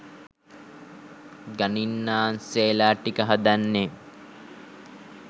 ගණින්නාන්සේලා ටික හදන්නේ